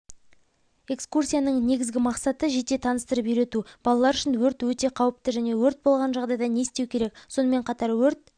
экскурсияның негізгі мақсаты жете таныстырып үйрету балалар үшін өрт өте қауіпті және өрт болған жағдайда не істеу керек сонымен қатар өрт